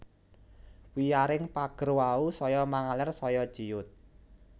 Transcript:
Wiyaring pager wau saya mangaler saya ciyut